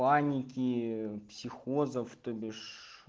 паники психозов тобиш